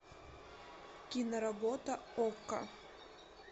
киноработа окко